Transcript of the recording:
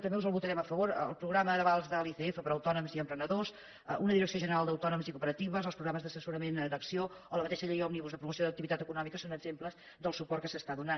també us el votarem a favor el programa d’avals de l’icf per a autònoms i emprenedors una direcció general per a autònoms i cooperatives els programes d’assessorament d’acc1ó o la mateixa llei òmnibus de promoció d’activitat econòmica són exemples del suport que s’està donant